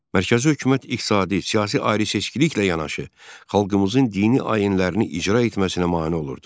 Mərkəzi hökumət iqtisadi, siyasi ayrıseçkiliklə yanaşı, xalqımızın dini ayinlərini icra etməsinə mane olurdu.